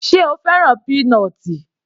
Sé o fẹ́ràn peanut l?